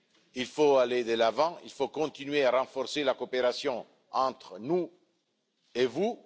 Il faut aller de l'avant et continuer à renforcer la coopération entre vous et nous.